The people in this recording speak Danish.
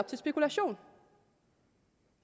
til spekulation